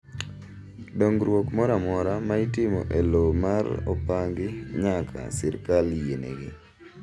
Dong'ruok mora amora ma itimo e low ma opangi nyaka sirkal yienegi.